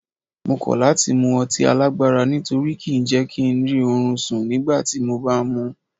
Mo kọ́ láti mu ọtí alágbára nítorí kí ń jẹ́ kí ń rí orun sùn nígbàtí mo bá mú un.